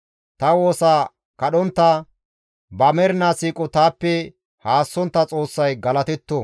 Ta woosa kadhontta, ba mernaa siiqo taappe haassontta Xoossay galatetto.